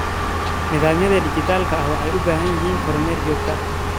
Nidaamyada dhijitaalka ah waxay u baahan yihiin kormeer joogto ah.